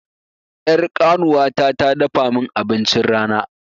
Ƴar ƙanuwata ta dafa mun abincin rana